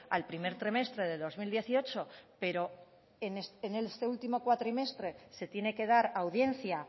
al primer trimestre del dos mil dieciocho pero en este último cuatrimestre se tiene que dar audiencia